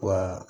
Wa